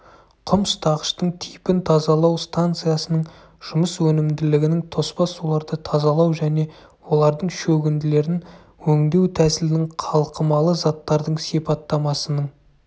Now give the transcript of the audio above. құм ұстағыштың типін тазалау станциясының жұмыс өнімділігінің тоспа суларды тазалау және олардың шөгінділерін өңдеу тәсілінің қалқымалы заттардың сипаттамасының